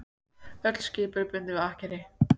Öll skip eru bundin við akkeri